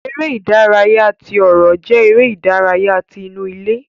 Eré ìdárayá tí ọrọ jẹ eré ìdárayá tí inú ilé.